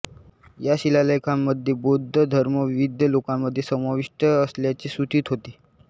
या शिलालेखांमध्ये बौद्ध धर्म विविध लोकांमध्ये समाविष्ट असल्याचे सूचित होते